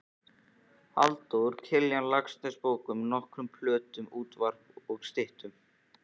Halldór Kiljan Laxness bókum, nokkrum plöntum, útvarpi og styttum.